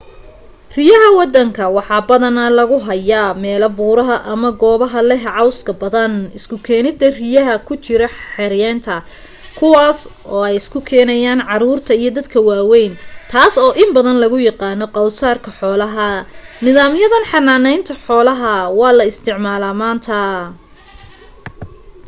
riyaha wadanka waxaa badana lagu haaya meela buuraha ama goobaha leh cawska badan isku keenida riyaha ku jira xeeyntna kuwaas ay isku keenan caruurta iyo dadka waaweyn taas oo in badan lagu yaqaano qowsaarka xoolaha nidaam yadan xannaaneynta xolaha waxaa la isticmaala manta